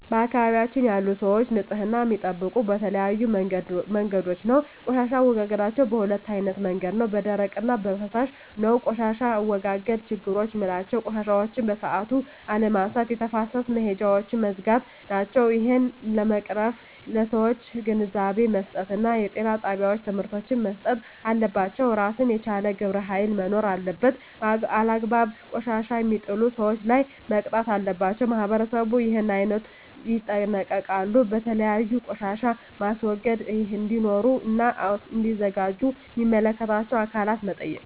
በአካባቢያችን ያሉ ሰዎች ንፅህና የሚጠብቁ በተለያዩ መንገዶች ነው ቆሻሻ አወጋገዳቸዉ በ2አይነት መንገድ ነው በደረቅ እና በፍሳሽ ነው በቆሻሻ አወጋገድ ችግሮች ምላቸው ቆሻሻዎችን በሠአቱ አለመነሳት የተፋሰስ መሄጃውች መዝጋት ናቸው እሄን ለመቅረፍ ለሠዎች ግንዛቤ መስጠት እና ጤና ጣቤዎች ትምህርቶች መሰጠት አለባቸው እራሱን የቻለ ግብረ ሀይል መኖር አለበት አላግባብ ቆሻሻ የሜጥሉ ሠዎች ላይ መቅጣት አለባቸው ማህበረሠቡ እሄን አይነቶ ይጠነቀቃሉ የተለያዩ ቆሻሻ ማስወገጃ እዴኖሩ እና እዲዘጋጁ ሚመለከታቸው አካላት መጠየቅ